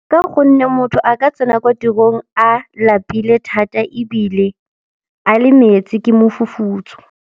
Ka gonne motho a ka tsena kwa tirong a lapile thata ebile a le metsi ke mofufutso.